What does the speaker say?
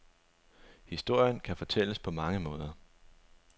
Historien kan fortælles på mange måder.